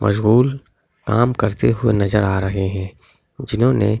मजबूल काम करते हुए नज़र आ रहे है जिन्होंने नीले रंग--